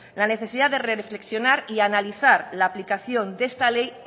la necesidad de reflexionar y analizar la aplicación de esta ley